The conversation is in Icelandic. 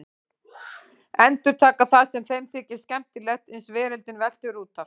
Endurtaka það sem þeim þykir skemmtilegt uns veröldin veltur út af.